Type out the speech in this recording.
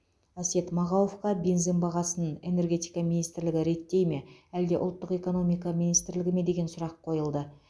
әсет мағауовқа бензин бағасын энергетика министрлігі реттей ме әлде ұлттық экономика министрлігі ме деген сұрақ қойылды